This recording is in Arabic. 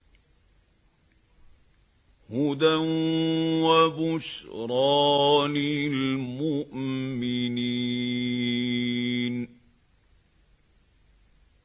هُدًى وَبُشْرَىٰ لِلْمُؤْمِنِينَ